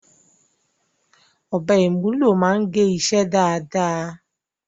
Ọ̀bẹ ìmúlò máa ń gé iṣẹ́ dáadáa.